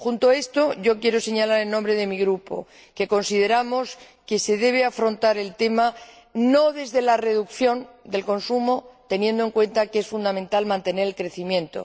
Junto a esto, quiero señalar, en nombre de mi Grupo, que consideramos que no se debe afrontar el tema desde la reducción del consumo, teniendo en cuenta que es fundamental mantener el crecimiento